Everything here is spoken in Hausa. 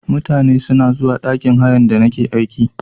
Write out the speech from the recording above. Mutane suna zuwa ɗakin hayan da nake aiki.